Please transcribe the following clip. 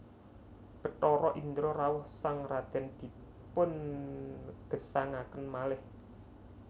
Bathara Indra rawuh sang radèn dipungesangaken malih